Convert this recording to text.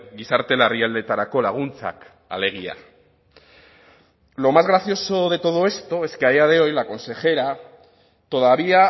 gizarte larrialdietarako laguntzak alegia lo más gracioso de todo esto es que a día de hoy la consejera todavía